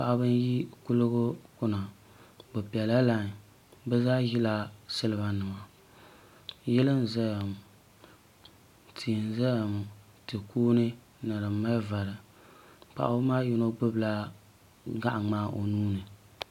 Paɣiba n yi kuliga kuna bi bɛla lainy bi zaa zila siliba nima yili n zaya ŋɔ tii n zaya ŋɔ ti kuuni ni din mali vari paɣiba maa yino gbubi la gaɣi ŋmaa o nuu ni .